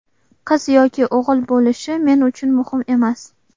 Qiz yoki o‘g‘il bo‘lishi men uchun muhim emas.